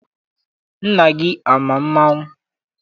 Nna gị ama mmanwụ?